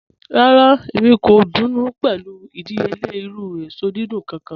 Rárá, èmi kò dùnú pé̩lú ìdíyèle̩ irù èsò dídùn kàn.